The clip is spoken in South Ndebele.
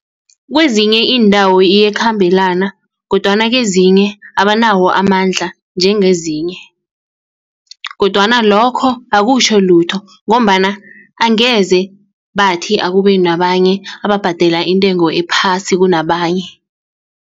Kwezinye iindawo iyakhambelana kodwana kezinye abanawo amandla njengezinye kodwana lokho akutjho lutho ngombana angeze bathi akube nabanye ababhadela intengo ephasi kunabanye.